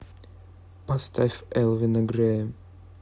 поставь элвина грея